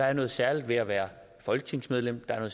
er noget særligt ved at være folketingsmedlem der er